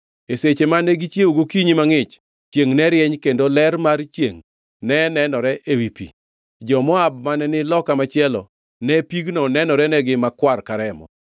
E seche mane gichiewo gokinyi mangʼich, chiengʼ ne rieny kendo ler mar chiengʼ ne nenore ewi pi. Jo-Moab mane ni loka machielo, ne pigno nenorenegi makwar ka remo.